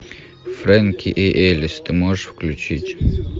фрэнки и элис ты можешь включить